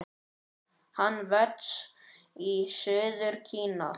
Hann vex í suður Kína.